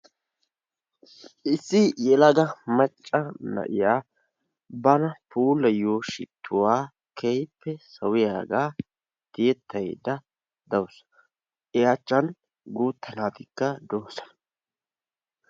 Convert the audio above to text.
issi yelaga macca na'iya bana puulayiyo shittuwaa keehippe sawiyaaga tiyetaydda dawusu i achan guuta naatikka de'oosona.